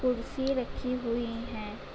कुर्सी रखी हुई हैं ।